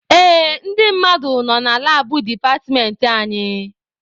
Ee, ndị mmadụ nọ na labụ departmentị anyị.